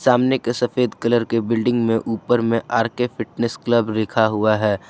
सामने के सफेद कलर के बिल्डिंग में ऊपर में आर_के फिटनेस क्लब लिखा हुआ है।